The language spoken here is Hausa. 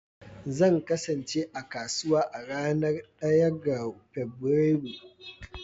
Zan kasance a kasuwa a ranar 1 ga Fabrairu.